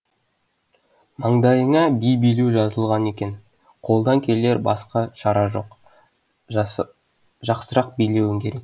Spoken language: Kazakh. маңдайыңа би билеу жазылған екен қолдан келер басқа шара жоқ жақсырақ билеуің керек